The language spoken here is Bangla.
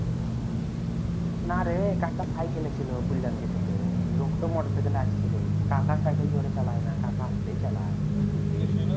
না রে কাকা cycle ছিলো বুইল্লাম যে তোকে লোক তা motorcycle আসছিলো কাকা cycle জোরে চালাইনা কাকা আসতেই চালায় বুঝলি